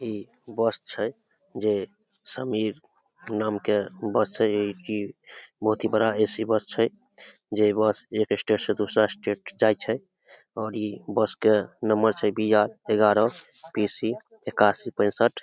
इ बस छै जे समीर नाम के बस छै इ की बहुत ही बड़ा ए.सी. बस छै जे बस एक स्टेट से दूसरा स्टेट जाय छै और इ बस के नंबर छै बी.आर. ग्यारह बी.सी. एकाशी पेशठ।